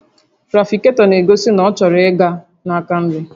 Trafiketọ na-egosi na ọ chọrọ ịga na-aka nri